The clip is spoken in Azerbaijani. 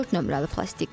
Dörd nömrəli plastik.